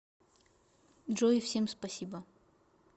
джой всем спасибо